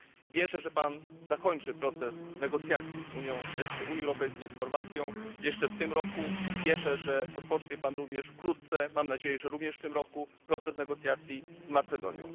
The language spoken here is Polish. Wierzę, że pan zakończy proces negocjacji Unii Europejskiej z Chorwacją jeszcze w tym roku. Wierzę, że rozpocznie pan również wkrótce, mam nadzieję, że także w tym roku, proces negocjacji z Macedonią.